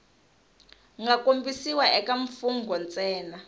nga kombisiwa eka mfugnho ntsena